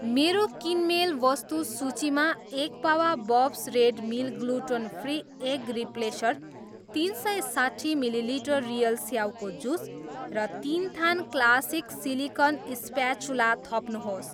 मेरो किनमेल वस्तु सूचीमा एक पावा Bob's Red Mill gluten free egg replacer, तिन सय साट्ठी मिली लिटर रियल स्याउको जुस र तिन थान क्लासिक सिलिकन स्प्याचुला थप्नुहोस्